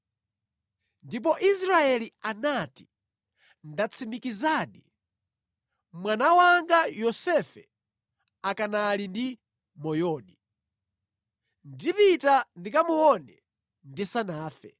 Ndipo Israeli anati, “Ndatsimikizadi! Mwana wanga Yosefe akanali ndi moyodi. Ndipita ndikamuone ndisanafe.”